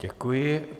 Děkuji.